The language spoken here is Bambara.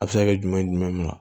A bɛ se ka kɛ jumɛn na